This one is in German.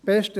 Besten